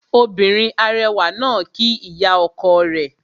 Obìnrin arẹwà náà kíí ìyá ọkọ rẹ̀